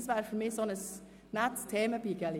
Ist dies so in Ordnung?